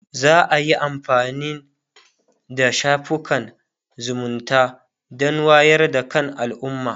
za'a iya amfanin da shafukan zumunta Dan wayar da kan alumma